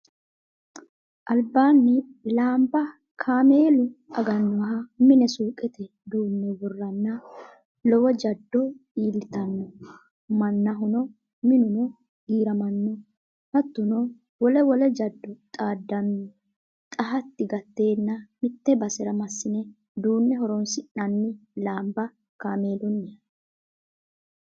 Albaani laamba kaameelu aganoha mine suuqete duune woranna lowo jado iillittano mannaho minuno giiramano hattono wole wole jado xaadano xa hati gatenna mite basera masine duune horonsi'nanni lamba kaameeluniha.